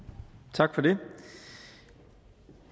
tak for det